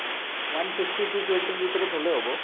one fifty to two twenty ৰ ভিতৰত হ’লেও হব।